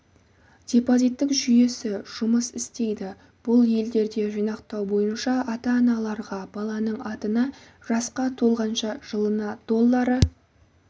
депозиттік жүйесі жұмыс істейді бұл елдерде жинақтау бойынша ата-аналарға баланың атына жасқа толғанша жылына доллары